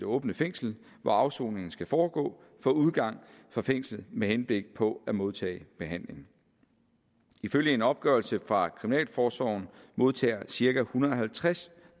åbent fængsel hvor afsoningen så skal foregå få udgang fra fængslet med henblik på at modtage behandling ifølge en opgørelse fra kriminalforsorgen modtager cirka en hundrede og halvtreds